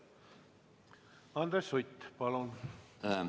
Andres Sutt, palun!